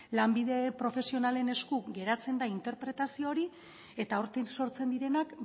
lanbide profesionalen esku geratzen da interpretazio hori eta hortik sortzen direnak